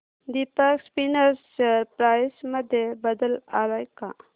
Deepak spinners share price मध्ये बदल आलाय का